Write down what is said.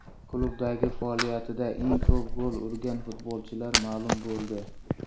Klublardagi faoliyatida eng ko‘p gol urgan futbolchilar ma’lum bo‘ldi.